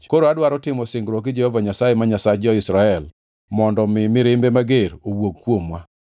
Koro adwaro timo singruok gi Jehova Nyasaye, ma Nyasach jo-Israel mondo mi mirimbe mager owuog kuomwa.